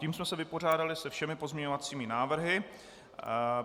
Tím jsme se vypořádali se všemi pozměňovacími návrhy.